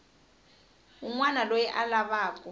wun wana loyi a lavaku